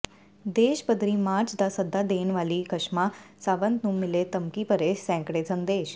ਦੇਸ਼ ਪੱਧਰੀ ਮਾਰਚ ਦਾ ਸੱਦਾ ਦੇਣ ਵਾਲੀ ਕਸ਼ਮਾ ਸਾਵੰਤ ਨੂੰ ਮਿਲੇ ਧਮਕੀ ਭਰੇ ਸੈਂਕੜੇ ਸੰਦੇਸ਼